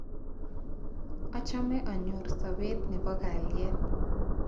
Achame anyor sopet ne po kalyet